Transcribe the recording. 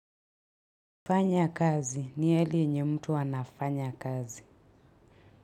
Fanya kazi ni hali yenye mtu anafanya kazi.